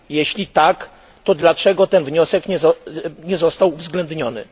Jeśli tak, to dlaczego ten wniosek nie został uwzględniony?